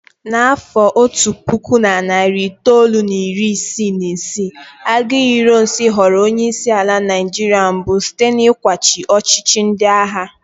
Na afọ otu puku na narị itoolu na iri isii na isii, Aguiyi Ironsi ghọrọ onye isi ala Naijiria mbụ site n'ịkwachi ọchịchị ndị agha.